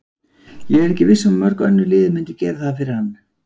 Ég er ekki viss um að mörg önnur lið myndu gera það fyrir hann.